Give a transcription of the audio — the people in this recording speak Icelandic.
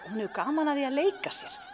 hefur gaman af því að leika sér